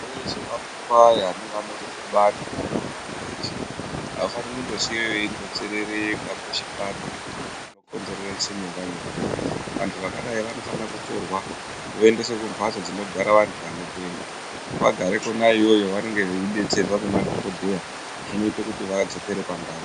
Veshe vanotwaya nevanorumbe bani mumantaraunda eshe avafani kundosiiwa veindonzerereka peshe paanoda kuguma vondokonzerese nyonga nyonga, vantu vakadai vanofanira kutorwa voendeswe kumbatso dzinogara vantu vanopenga, vagare kona iyoyo vanenge veidetserwa ngemadhokodheya zvinoite kuti vadzokere pandau.